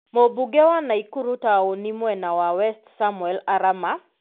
Mũmbunge wa Naikuru taũni mwena wa West Samuel Arama,